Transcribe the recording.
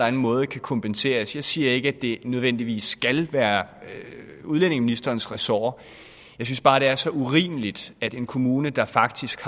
anden måde kan kompenseres jeg siger ikke at det nødvendigvis skal være udlændingeministerens ressort jeg synes bare det er så urimeligt at en kommune der faktisk